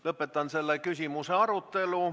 Lõpetan selle küsimuse arutelu.